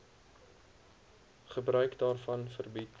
gebruik daarvan verbied